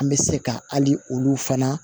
An bɛ se ka hali olu fana